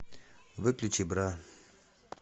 выключи бра